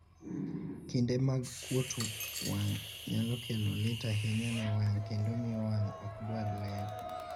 kinde mag kuot wang' nyalo kelo lit ahinya ne wang' kendo miyo wang' ok dwar ler